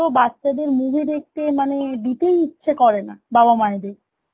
তো বাচ্চা দের movie দেখতে মানে দিতেই ইচ্ছে করে না বাবা মায়েদের